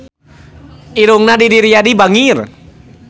Irungna Didi Riyadi bangir